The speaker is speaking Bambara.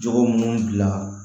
Jogo minnu bila